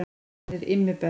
Hann er Immi best.